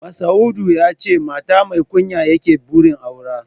Masa'udu ya ce shi mata mai kunya yake da burin aura